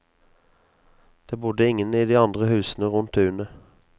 Det bodde ingen i de andre husene rundt tunet.